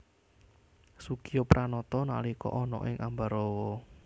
Soegijapranata nalika ana ing Ambarawa